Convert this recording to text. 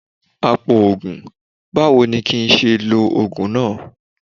Apòògùn, báwo ni kín ṣe lo Ògùn náà?